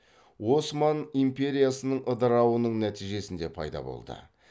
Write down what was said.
осман империясының ыдырауының нәтижесінде пайда болды